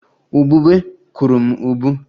Ubube kụrụ m ubu